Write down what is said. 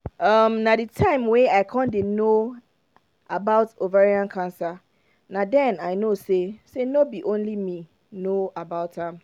um na the time wey i con dey no about ovarian cancer na den i know say say no be only me no know about am